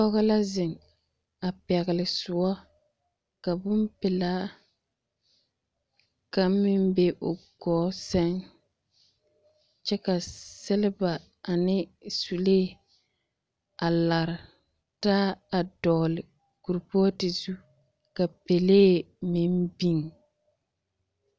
Pɔge la zeŋ a pɛgele soɔ, ka bompelaa, kaŋ meŋ be o gɔɔ sɛŋ, kyɛ ka seleba ane sulee a lare taa a dɔɔle kurpooti zu ka pelee meŋ biŋ.